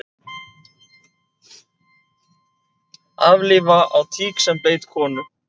Aflífa á tík sem beit konu